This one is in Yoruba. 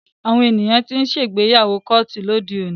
Àwọn ènìyàn tí ń ṣe ìgbéyàwó kóòtù lóde òní.